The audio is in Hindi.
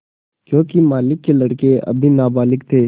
योंकि मालिक के लड़के अभी नाबालिग थे